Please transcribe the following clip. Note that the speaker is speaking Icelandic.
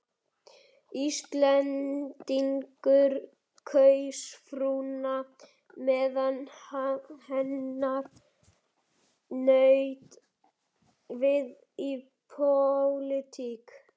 Íslendingur kaus frúna meðan hennar naut við í pólitík.